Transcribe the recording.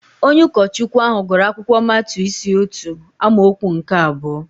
Onye ụkọchukwu ahụ gụrụ akwụkwọ Matiu isi otu amaokwu nke abụọ